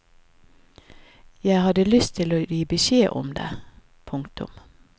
Jeg hadde lyst til å gi beskjed om det. punktum